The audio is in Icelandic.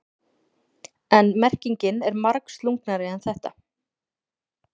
En merkingin er margslungnari en þetta.